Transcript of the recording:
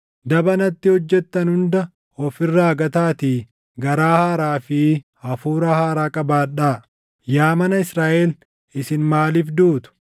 Daba natti hojjettan hunda of irraa gataatii garaa haaraa fi hafuura haaraa qabaadhaa. Yaa mana Israaʼel isin maaliif duutu?